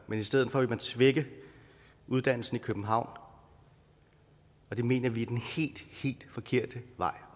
vil i stedet for svække uddannelsen i københavn det mener vi er den helt forkerte vej